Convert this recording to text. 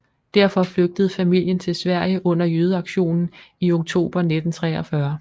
Derfor flygtede familien til Sverige under jødeaktionen i oktober 1943